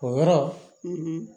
O yɔrɔ